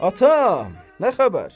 Atam, nə xəbər?